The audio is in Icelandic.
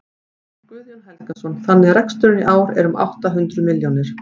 Guðjón Helgason: Þannig að reksturinn í ár er um átta hundruð milljónir?